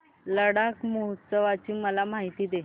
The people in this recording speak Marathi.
लडाख महोत्सवाची मला माहिती दे